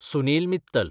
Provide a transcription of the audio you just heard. Sunil Mittal